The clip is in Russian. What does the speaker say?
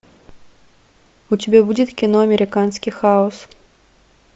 у тебя будет кино американский хаос